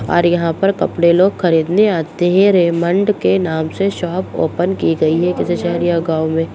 और यहाँ पर कपड़े लोग खरीदने आते हैं रेमंड के नाम से शॉप ओपन की गयी है किसी शहर या गाँव में----